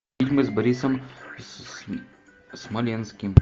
фильмы с борисом смоленским